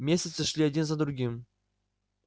месяцы шли один за другим